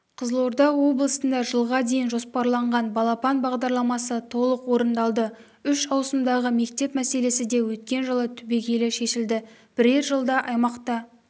қызылорда облысында жылға дейін жоспарланған балапан бағдарламасы толық орындалды үш ауысымдағы мектеп мәселесі де өткен жылы түбегейлі шешілді бірер жылда аймақта